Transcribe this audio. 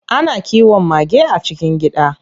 Ana kiwon mage a cikin gida.